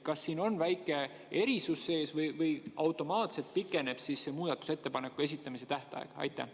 Kas siin on väike erisus sees või pikeneb automaatselt see muudatusettepanekute esitamise tähtaeg?